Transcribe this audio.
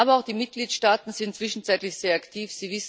Aber auch die Mitgliedstaaten sind zwischenzeitlich sehr aktiv.